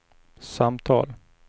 samtal